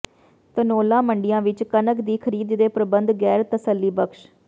ਧਨੌਲਾ ਮੰਡੀਆਂ ਵਿੱਚ ਕਣਕ ਦੀ ਖਰੀਦ ਦੇ ਪ੍ਰਬੰਧ ਗੈਰ ਤਸੱਲੀਬਖਸ਼